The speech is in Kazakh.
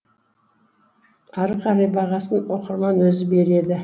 ары қарай бағасын оқырман өзі береді